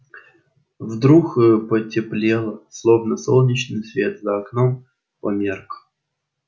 вдруг потеплело словно солнечный свет за окном померк